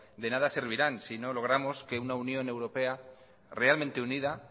de nada servirán si no logramos que una unión europea realmente unida